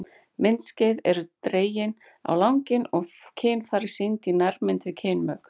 Myndskeið eru dregin á langinn og kynfæri sýnd í nærmynd við kynmök.